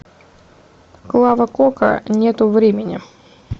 клава кока нету времени